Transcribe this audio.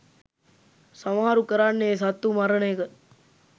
සමහරු කරන්නේ සත්තු මරන එක.